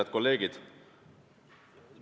Head kolleegid!